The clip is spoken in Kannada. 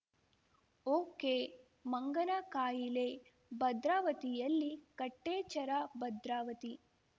ಓಕೆಮಂಗನ ಕಾಯಿಲೆ ಭದ್ರಾವತಿಯಲ್ಲಿ ಕಟ್ಟೆಚ್ಚರ ಭದ್ರಾವತಿ